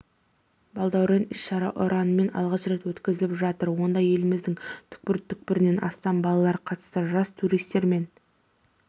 балдәурен іс-шара ұранымен алғаш рет өткізіліп жатыр онда еліміздің түкпір-түкпірінен астам балалар қатысты жас туристер мен